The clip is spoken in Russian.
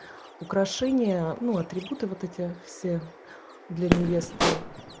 украшение ну атрибуты вот эти все для невесты